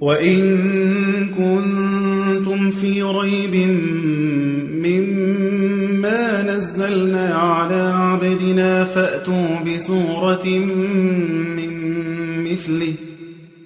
وَإِن كُنتُمْ فِي رَيْبٍ مِّمَّا نَزَّلْنَا عَلَىٰ عَبْدِنَا